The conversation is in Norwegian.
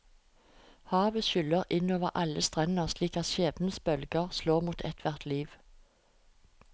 Havet skyller inn over alle strender slik skjebnens bølger slår mot ethvert liv.